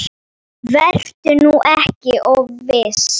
Vertu nú ekki of viss.